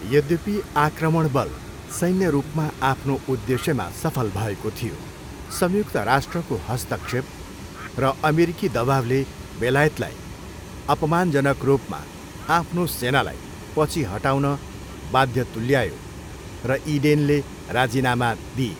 यद्यपि आक्रमण बल सैन्य रूपमा आफ्नो उद्देश्यमा सफल भएको थियो, संयुक्त राष्ट्रको हस्तक्षेप र अमेरिकी दबाउले बेलायतलाई अपमानजनक रूपमा आफ्नो सेनालाई पछि हटाउन बाध्य तुल्यायो र इडेनले राजीनामा दिए।